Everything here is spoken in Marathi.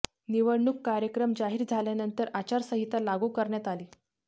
निवडणूक कार्यक्रम जाहीर झाल्यानंतर आचारसंहिता लागू करण्यात आली